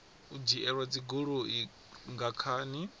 u dzhielwa dzigoloi nga khani